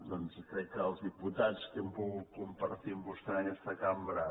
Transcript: crec que els diputats que hem pogut compartir amb vostè en aquesta cam·bra